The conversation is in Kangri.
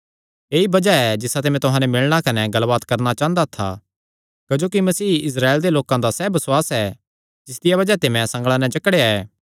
ऐई बज़ाह ऐ जिसाते मैं तुहां नैं मिलणा कने गल्लबात करणा चांह़दा था क्जोकि मसीह इस्राएल दे लोकां दा सैह़ बसुआस ऐ जिसदिया बज़ाह ते मैं संगल़ां नैं जकड़ेया ऐ